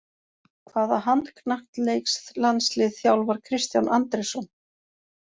Hvaða handknattleiks-landslið þjálfar Kristján Andrésson?